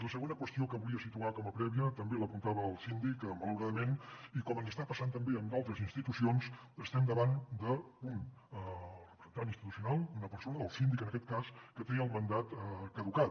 la segona qüestió que volia situar com a prèvia també l’apuntava el síndic malauradament i com ens està passant també en d’altres institucions estem davant d’un representant institucional d’una persona del síndic en aquest cas que té el mandat caducat